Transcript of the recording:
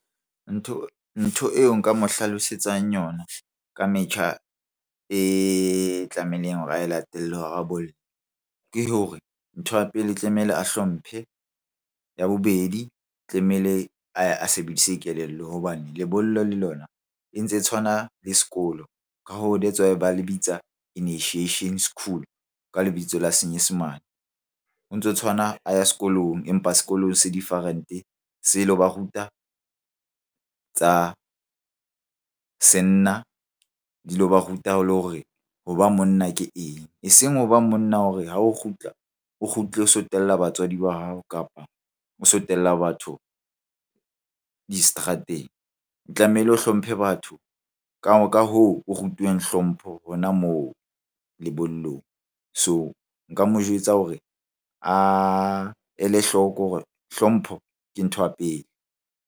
Ntho eo nka mo hlalosetsang yona ka metjha e tlamehileng hore a e latele hore a bolle. Ke hore ntho ya pele tlamehile a hlomphe. Ya bobedi, tlamehile a ye a sebedise kelello hobane lebollo le lona e ntse e tshwana le sekolo. Ka hoo, that's why ba lebitsa initiation school ka lebitso la senyesemane. Ho ntso tshwana a ya sekolong, empa sekolong se different-e se lo ba ruta tsa senna, di lo ba ruta le hore ho ba monna ke eng? Eseng ho ba monna hore ha o kgutla, o kgutle o so tella batswadi ba hao kapa o so tella batho diseterateng. Tlamehile o hlomphe batho ka hoo o rutuweng hlompho hona moo lebollong. So nka mo jwetsa hore a ele hloko hore hlompho ke ntho ya pele.